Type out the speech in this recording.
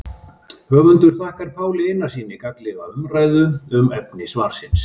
Höfundur þakkar Páli Einarssyni gagnlega umræðu um efni svarsins.